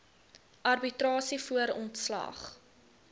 arbitrasie voor ontslag